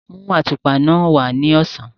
Mú àtùpà náà wá ní ọ̀sán.